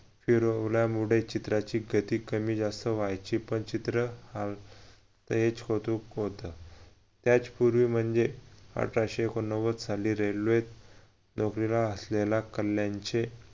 फिरवल्यामुळे चित्राची गती कमी जास्त व्हायची पण चित्र हे स्वरूप होत त्याच्यपूर्वी म्हणजे अठराशे एकोणनव्वद साली railway त नोकरीला असलेला कल्याणचे